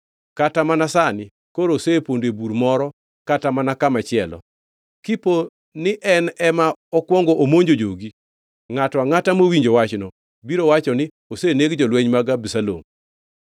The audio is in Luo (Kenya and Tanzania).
Kata mana sani koro osepondo e bur moro kata mana kamachielo; kipo ni en ema okwongo omonjo jogi, ngʼato angʼata mowinjo wachno biro wacho ni, ‘Oseneg jolweny mag Abisalom.’